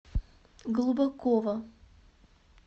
глубокова